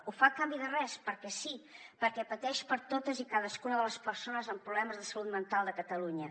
ho fa a canvi de res perquè sí perquè pateix per totes i cadascuna de les persones amb problemes de salut mental de catalunya